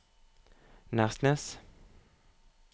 Nærsnes